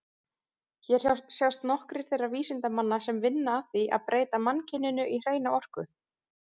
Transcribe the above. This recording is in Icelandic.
Hér sjást nokkrir þeirra vísindamanna sem vinna að því að breyta mannkyninu í hreina orku.